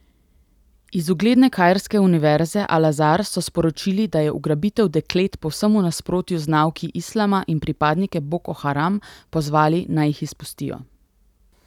Iz ugledne kairske univerze Al Azar so sporočili, da je ugrabitev deklet povsem v nasprotju z nauki islama in pripadnike Boko Haram pozvali, naj jih izpustijo.